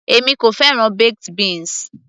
èmi kò fẹ́ràn baked beans